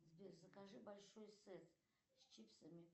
сбер закажи большой сет с чипсами